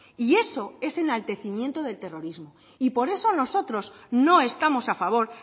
y eso es enaltecimiento del terrorismo y por eso nosotros no estamos a favor